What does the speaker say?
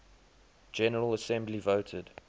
general assembly voted